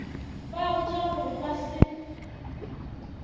ba botša gore ba se